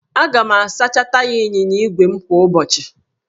Aga m asacha taya ịnyịnya ígwè m kwa ụbọchị